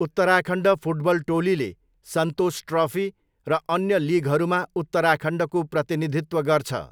Uttarakhand football टोलीले Santosh trophy र अन्य लिगहरूमा उत्तराखण्डको प्रतिनिधित्व गर्छ।